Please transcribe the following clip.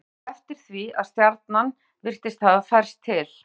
Tók hann þá eftir því að stjarnan virtist hafa færst til.